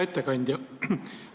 Hea ettekandja!